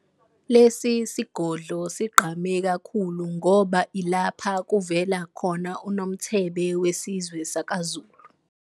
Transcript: Lesi sigodlo sigqame kakhulu ngoba ilapha kuvela khona uNomthebe wesizwe sakaZulu.